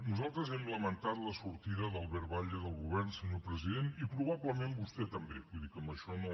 nosaltres hem lamentat la sortida d’albert batlle del govern senyor president i probablement vostè també vull dir que amb això no